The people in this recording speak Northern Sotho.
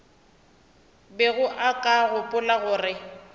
bego o ka gopola gore